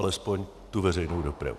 Alespoň tu veřejnou dopravu.